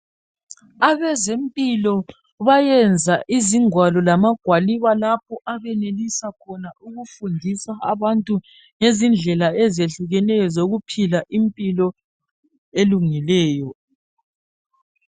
Abezempilo bayenza izingwalo lamagwaliba lapho abenelisa khona ukufundisa abantu ngezindlela ezehlukeneyo zokuphila impilo elungileyo.